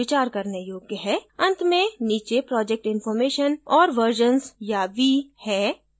अंत में नीचे project information और versions या v है